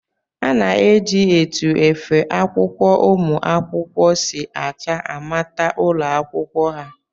A na-eji etu efe akwụkwọ ụmụ akwụkwọ si acha amata ụlọakwụkwọ ha